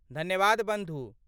धन्यवाद बन्धु।